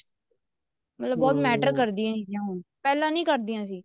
ਮਤਲਬ ਬਹੁਤ matter ਕਰਦੀਆਂ ਨੇ ਇਹ ਚੀਜ਼ਾਂ ਹੁਣ ਪਹਿਲਾਂ ਨੀ ਕਰਦੀਆਂ ਸੀ